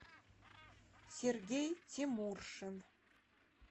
сергей тимуршин